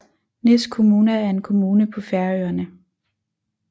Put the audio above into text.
Nes kommuna er en kommune på Færøerne